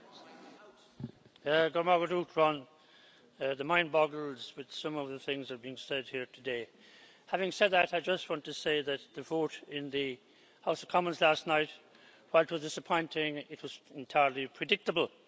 Madam President, the mind boggles with some of the things that are being said here today. Having said that, I just want to say that the vote in the House of Commons last night, though disappointing, was entirely predictable.